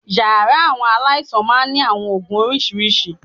Yàrá àwọn aláìsàn máa ń ní àwọn oògùn oríṣiríṣi